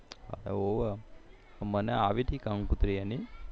મને આવી તી કંકોતરી એની